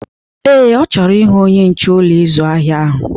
Ee, ọ chọrọ ịhụ onye nche Ụlọ ịzụ ahịa ahụ.